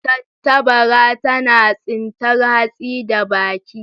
tattabara tana tsintar hatsi da baki.